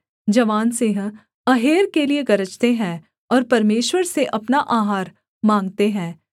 जवान सिंह अहेर के लिये गर्जते हैं और परमेश्वर से अपना आहार माँगते हैं